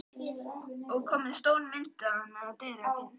Og komin stór ljósmynd af henni á dyravegginn.